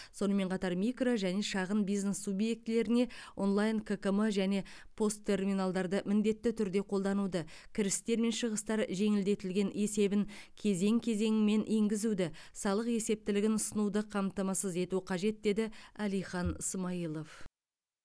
сонымен қатар микро және шағын бизнес субъектілеріне онлайн ккм және пос терминалдарды міндетті түрде қолдануды кірістер мен шығыстар жеңілдетілген есебін кезең кезеңімен енгізуді салық есептілігін ұсынуды қамтамасыз ету қажет деді әлихан смайылов